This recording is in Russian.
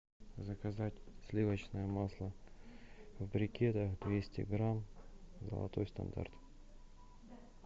заказать сливочное масло в брикетах двести грамм золотой стандарт